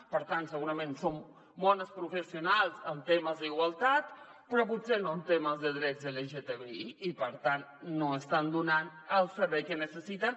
per tant segurament són bones professionals en temes d’igualtat però potser no en temes de drets lgtbi i per tant no estan donant el servei que necessiten